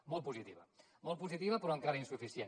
molt positiva molt positiva però encara insuficient